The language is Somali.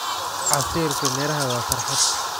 Casiirka miraha waa farxad.